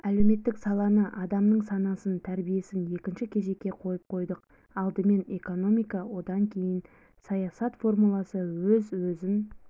әлеуметтік саланы адамның санасын тәрбиесінекінші кезекке қойып қойдық алдымен экономика одан кейін саясат формуласы өз-өзін